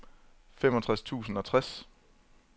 femogtres tusind og tres